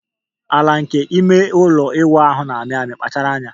Ala nke ime ụlọ ịwụ ahụ na-amị amị, kpachara anya.